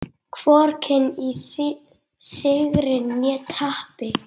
Hvorki í sigri né tapi.